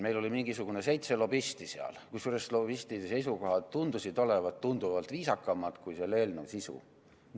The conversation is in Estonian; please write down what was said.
Meil oli mingi seitse lobisti seal, kusjuures lobistide seisukohad tundusid olevat tunduvalt viisakamad kui selle eelnõu sisu.